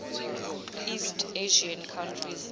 east asian countries